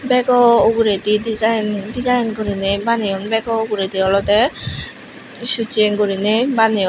bego ugureydi dijane dijane guriney baniyon bego ugureydi olode sussang gurine banayon.